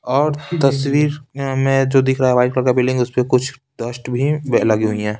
और तस्वीर में जो दिख रहा है व्हाइट कलर का बिल्डिंग उस पे कुछ डस्ट भी लगी हुई है।